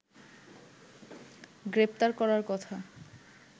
গ্রেপ্তার করার কথা